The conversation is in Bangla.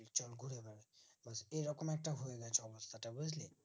একটা সমস্যাটা বুজলি